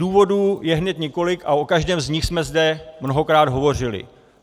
Důvodů je hned několik a o každém z nich jsme zde mnohokrát hovořili.